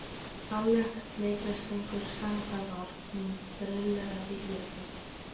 Ballett, leiklist, söngur, sama hvað var, hún brilleraði í öllu.